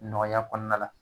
Nɔgɔya kɔnɔna la